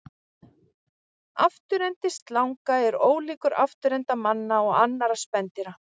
Afturendi slanga er ólíkur afturenda manna og annarra spendýra.